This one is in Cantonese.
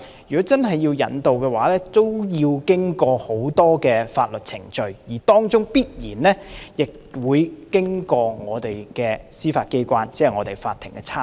如果真的要移交逃犯，需要經過很多法律程序，當中必然會經過我們的司法機關，即法庭的參與。